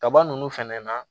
Kaba nunnu fɛnɛ na